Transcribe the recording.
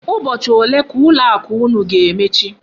Ụbọchị ole ka ụlọ akụ unu ga-emechi?